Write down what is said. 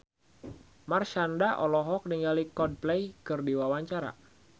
Marshanda olohok ningali Coldplay keur diwawancara